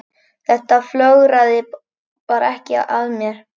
Þetta flögraði bara ekki að mér.